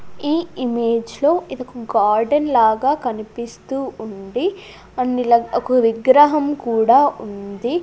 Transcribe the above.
ఈ ఇమేజ్ లో ఇది ఒక గార్డెన్ లాగా కనిపిస్తూ ఉంది అన్నిల ఒక విగ్రహం కూడా ఉంది.